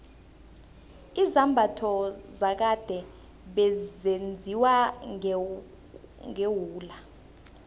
izambatho zakade bezenziwa ngewula